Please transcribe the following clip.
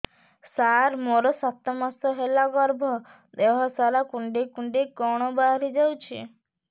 ସାର ମୋର ସାତ ମାସ ହେଲା ଗର୍ଭ ଦେହ ସାରା କୁଂଡେଇ କୁଂଡେଇ କଣ ବାହାରି ଯାଉଛି